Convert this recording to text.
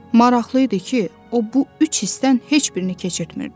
Maraqlı idi ki, o bu üç hissdən heç birini keçirtmirdi.